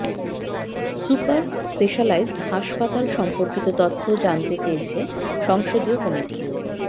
super specialised হাসপাতাল সম্পর্কিত তথ্য জানতে চেয়েছে সংসদীয় কমিটি